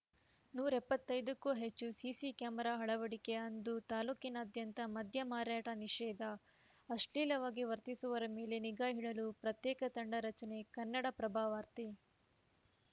ನೂರ ಎಪ್ಪತ್ತೈದಕ್ಕೂ ಹೆಚ್ಚು ಸಿಸಿ ಕ್ಯಾಮೆರಾ ಅಳವಡಿಕೆ ಅಂದು ತಾಲೂಕಿನಾದ್ಯಂತ ಮದ್ಯ ಮಾರಾಟ ನಿಷೇಧ ಅಶ್ಲೀಲವಾಗಿ ವರ್ತಿಸುವವರ ಮೇಲೆ ನಿಗಾ ಇಡಲು ಪ್ರತ್ಯೇಕ ತಂಡ ರಚನೆ ಕನ್ನಡಪ್ರಭವಾರ್ತೆ